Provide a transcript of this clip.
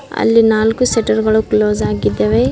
ಅಲ್ಲಿ ನಾಲ್ಕು ಶಟರ್ ಗಳು ಕ್ಲೋಸ್ ಆಗಿದ್ದಾವೆ.